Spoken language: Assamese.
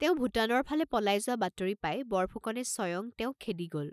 তেওঁ ভোটানৰ ফালে পলাই যোৱা বাতৰি পাই বৰফুকনে স্বয়ং তেওঁক খেদি গল।